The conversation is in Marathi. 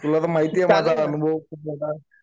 तुला तर माहितीये माझा अनुभव खूप मोठा आहे.